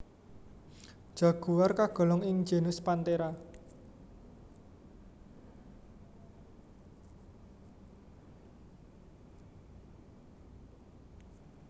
Jaguar kagolong ing genus Panthera